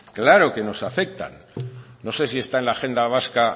claro que nos afectan no sé si está en la agenda vasca